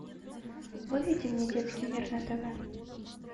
выведи мне детский мир на тв